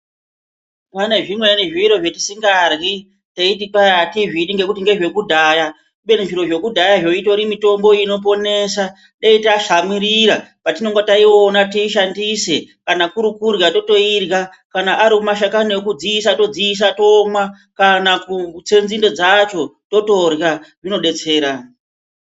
Pane zvimweni zviro zvetisingadyri teiti kwai atizvidi ngezvekudhaya. Kubeni zviro zvekudhayazvo itori mitombo inoponesa. Dei tatsamwirira patinenge taiona tiishandise. Kana kuri kudyra totoidyra, kana ari mashakani ekudziisa todziisa tomwa. Kana kutse nzinde dzacho totodyra, zvinodetsera.